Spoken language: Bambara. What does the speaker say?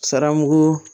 Saramu